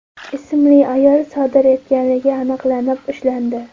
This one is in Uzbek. ismli ayol sodir etganligi aniqlanib, ushlandi.